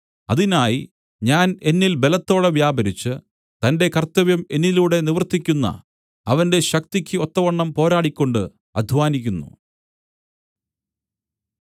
അതിനായി ഞാൻ എന്നിൽ ബലത്തോടെ വ്യാപരിച്ച് തന്റെ കർത്തവ്യം എന്നിലൂടെ നിവർത്തിയ്ക്കുന്ന അവന്റെ ശക്തിയ്ക്ക് ഒത്തവണ്ണം പോരാടിക്കൊണ്ട് അദ്ധ്വാനിക്കുന്നു